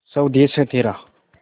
स्वदेस है तेरा